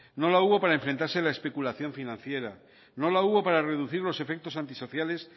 no la hubo para enfrentarse a la especulación financiera no la hubo para reducir los efectos antisociales